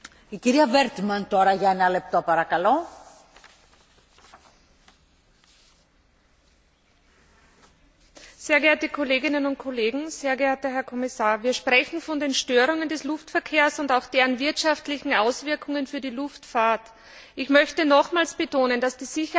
Frau Präsidentin, Herr Kommissar, sehr geehrte Kolleginnen und Kollegen! Wir sprechen von den Störungen des Luftverkehrs und auch deren wirtschaftlichen Auswirkungen auf die Luftfahrt. Ich möchte nochmals betonen, dass die Sicherheit der Bürgerinnen und Bürger Europas das Wichtigste ist.